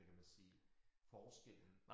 Hvad kan man sige forskellen